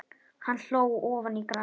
Hann hló ofan í grasið.